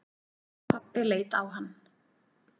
Pabbi leit á hann.